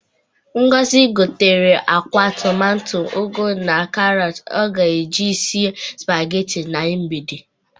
Ngozi gotere akwa, tụmato, ugụ na karọtụ ọ ga-eji sie sụpageti na mgbe.